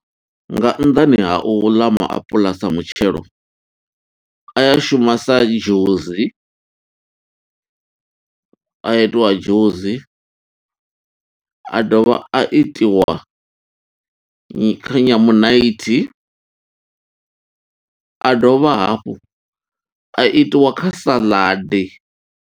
Nga nnḓani ha u ḽa maapuḽa sa mutshelo, a ya shuma sa dzhusi, a a itiwa dzhusi. A dovha a itiwa kha nyamunaithi, a dovha hafhu a itiwa kha saḽadi.